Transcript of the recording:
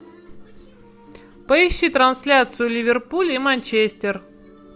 поищи трансляцию ливерпуль и манчестер